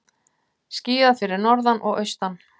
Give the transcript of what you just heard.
Skíðað fyrir norðan og austan